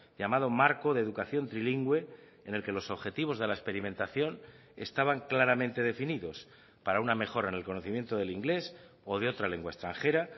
llamado marco de educación trilingüe en el que los objetivos de la experimentación estaban claramente definidos para una mejora en el conocimiento del inglés o de otra lengua extranjera